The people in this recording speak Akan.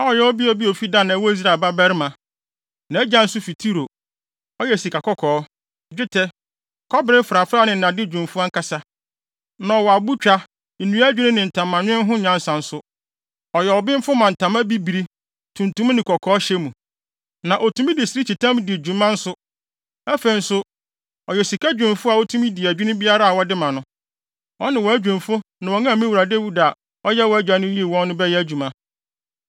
a ɔyɛ ɔbea bi a ofi Dan a ɛwɔ Israel babarima; nʼagya nso fi Tiro. Ɔyɛ sikakɔkɔɔ, dwetɛ, kɔbere mfrafrae ne nnade dwumfo ankasa. Na ɔwɔ abotwa, nnua adwinni ne ntamanwen ho nyansa nso. Ɔyɛ ɔbenfo wɔ ntama bibiri, tuntum ne kɔkɔɔ hyɛ mu. Na otumi de sirikyitam di dwuma nso. Afei nso, ɔyɛ sika dwumfo a otumi di adwinni biara a wɔde ma no. Ɔne wʼadwumfo ne wɔn a me wura Dawid a ɔyɛ wʼagya no yii wɔn no bɛyɛ adwuma.